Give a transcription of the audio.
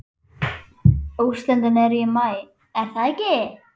Úrslitin eru í maí er það ekki?